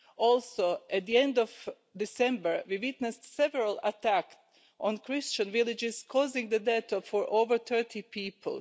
Also at the end of December, we witnessed several attacks on Christian villages causing the death of over 30 people.